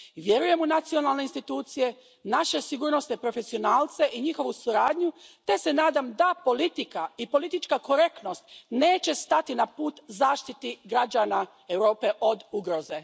Vjerujem u nacionalne institucije, naše sigurnosne profesionalce i njihovu suradnju te se nadam da politika i politička korektnost neće stati na put zaštiti građana Europe od ugroze.